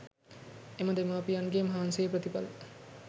එම දෙමාපියන්ගේ මහන්සියේ ප්‍රතිඵල